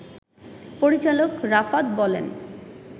পরিচালক রাফাত বলেন,